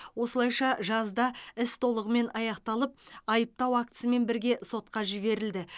осылайша жазда іс толығымен аяқталып айыптау актісімен бірге сотқа жіберілді